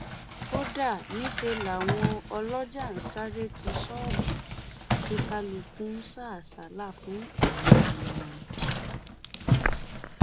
kódà níṣẹ làwọn ọlọjà ń sáré ti ṣọọbù tí kálukú ń sá àsálà fún ẹmí wọn